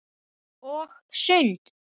Og sund.